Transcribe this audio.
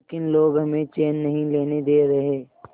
लेकिन लोग हमें चैन नहीं लेने दे रहे